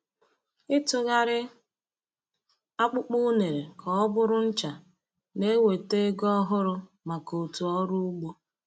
Ịtụgharị akpụkpọ unere ka ọ bụrụ ncha na-eweta ego ọhụrụ maka òtù ọrụ ugbo.